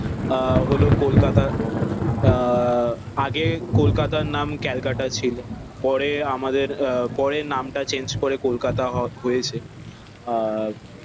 আহ হলো কলকাতা আহ আগে কলকাতা নাম ক্যালকাটা ছিল। পরে আমাদের আহ পরে নাম টা চেঞ্জ করে কলকাতা হ হয়েছে। আহ